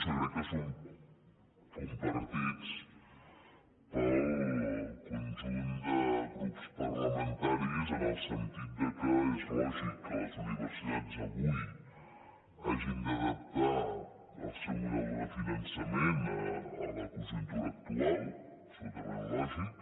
i jo crec que són compartits pel conjunt de grups parlamentaris en el sentit que és lògic que les universitats avui hagin d’adaptar el seu model de finançament a la conjuntura actual absolutament lògic